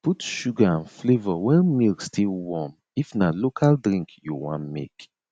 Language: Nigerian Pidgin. put sugar and flavour when milk still warm if na local drink you wan make